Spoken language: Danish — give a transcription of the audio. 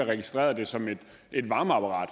har registreret den som et varmeapparat